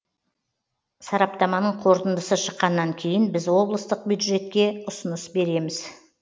сараптаманың қорытындысы шыққаннан кейін біз облыстық бюджетке ұсыныс береміз